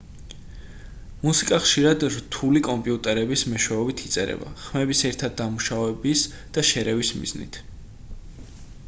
მუსიკა ხშირად რთული კომპიუტერების მეშვეობით იწერება ხმების ერთად დამუშავების და შერევის მიზნით